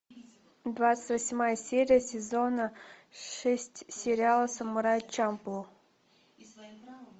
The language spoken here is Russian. двадцать восьмая серия сезона шесть сериала самурай чамплу